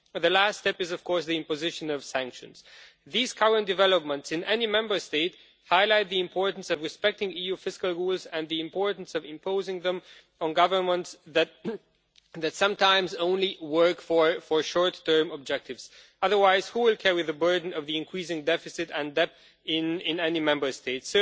The last step is the imposition of sanctions. These current developments, in any Member State, highlight the importance of respecting EU fiscal rules and the importance of imposing them on governments that sometimes work only for short term objectives. Otherwise, who will carry the burden of the increasing deficit and debt in any Member State?